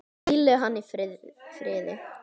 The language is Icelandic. Hvíli hann í friði.